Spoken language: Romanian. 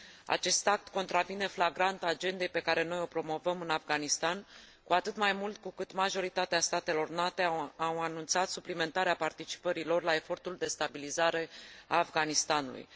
Acest act contravine flagrant agendei pe care noi o promovăm în Afganistan, cu atât mai mult cu cât majoritatea statelor NATO au anunțat suplimentarea participării lor la efortul de stabilizare a Afganistanului.